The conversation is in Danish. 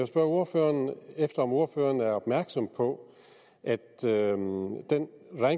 spørge ordføreren om ordføreren er opmærksom på at den